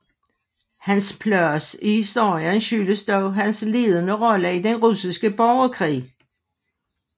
Hans plads i historien skyldes dog hans ledende rolle i den russiske borgerkrig